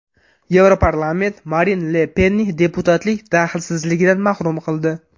Yevroparlament Marin Le Penni deputatlik daxlsizligidan mahrum qildi.